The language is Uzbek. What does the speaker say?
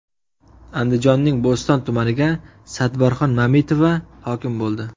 Andijonning Bo‘ston tumaniga Sadbarxon Mamitova hokim bo‘ldi.